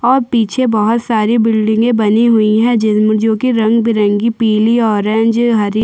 और पीछे बहोत सारी बिलडिंगे बनी हुई है जिन जो की रंग-बिरंगी पिली ऑरेंज हरी--